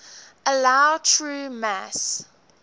allow true mass